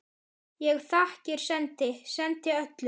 Ég þakkir sendi, sendi öllum.